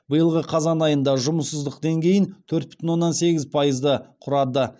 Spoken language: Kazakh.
биылғы қазан айында жұмыссыздық деңгейін төрт бүтін оннан сегіз пайызды құрады